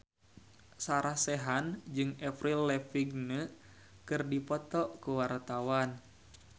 Sarah Sechan jeung Avril Lavigne keur dipoto ku wartawan